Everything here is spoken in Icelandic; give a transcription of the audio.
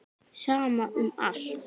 Sama um allt.